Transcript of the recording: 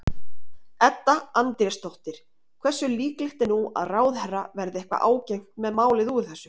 Edda Andrésdóttir: Hversu líklegt er nú að ráðherra verði eitthvað ágengt með málið úr þessu?